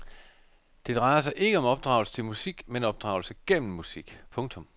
Det drejer sig ikke om opdragelse til musik men opdragelse gennem musik. punktum